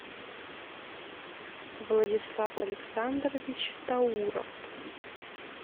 владислав александрович тауров